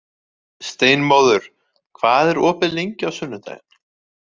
Steinmóður, hvað er opið lengi á sunnudaginn?